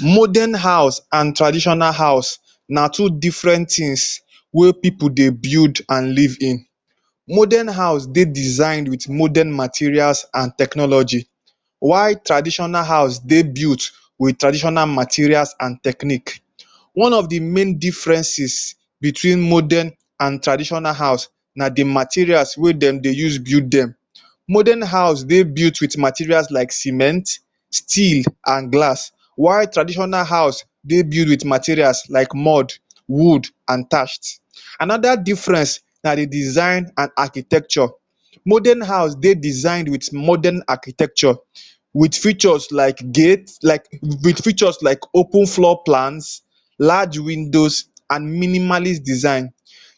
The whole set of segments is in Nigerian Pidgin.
Modern house an traditional house na two different tins wey pipu dey build an live in. Modern house dey designed with modern materials an technology while traditional house dey built wiwth traditional materials an technique. One of the main differences between modern an traditional house na the materials wey dem dey use build dem. Modern house dey built with materials like cement, steel, an glass while traditional house dey built with materials like mud, wood and thatch. Another difference na the design an architecture. Modern house dey designed with modern architecture with features like gate, like with features like open floor plants, large windows, an minimalist design.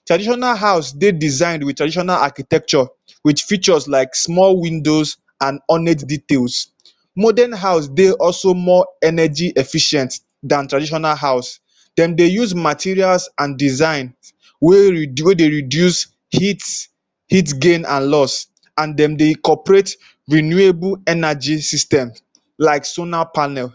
Traditional house dey designed with traditional architecture with features like small windows an hornet details. Modern house dey also more energy efficient than traditional house. Dem dey use materials an design wey wey dey reduce heat, heat gain an loss, an dem dey incorporate renewable energy system like solar panel.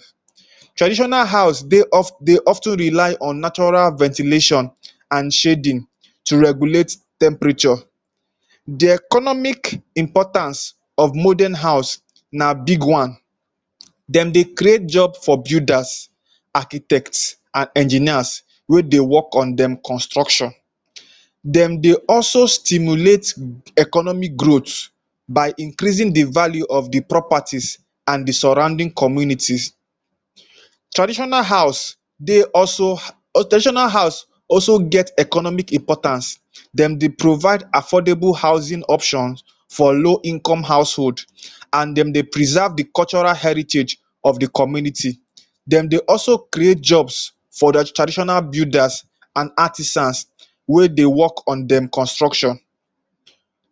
Traditional house dey dey of ten rely on natural ventilation an shading to regulate temperature. The economic importance of modern house na big one. Dem dey create job for builders, architects an engineers wey dey work on dem construction. Dem dey also stimulate economic growth by increasing the value of the properties an the surrounding communities. Traditional house dey also or traditional house also get economic importance. Dem dey provide affordable housing option for low-income household an dem dey preserve the cultural heritage of the community. Dem dey also create jobs for traditional builders an artisans wey dey work on dem construction.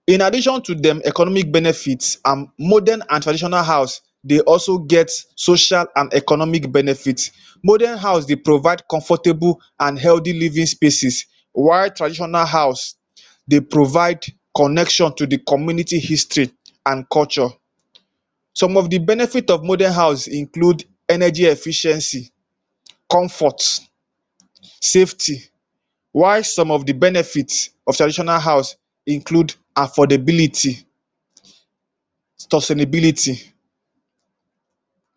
In addition to dem economic benefits, an modern an traditional house dey also get social an economic benefit Modern house dey provide comfortable an healthy living spaces while traditional house dey provide connection to the community history an culture. Some of the benefit of modern house include energy efficiency, comfort, safety, while some of the benefit of traditional house include affordability,.